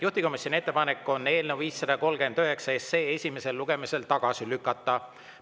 Juhtivkomisjoni ettepanek on eelnõu 539 esimesel lugemisel tagasi lükata.